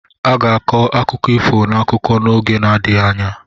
A ga-akọ akụkọ ifo n'akụkọ n'oge na-adịghị anya.